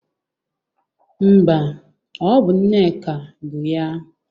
Mba, ọ bụ Nneka bụ ya.